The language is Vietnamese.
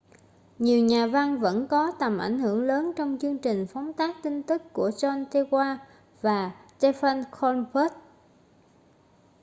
nhiều nhà văn vẫn có tầm ảnh hưởng lớn trong chương trình phóng tác tin tức của jon stewart và stephen colbert